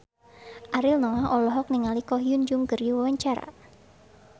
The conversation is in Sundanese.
Ariel Noah olohok ningali Ko Hyun Jung keur diwawancara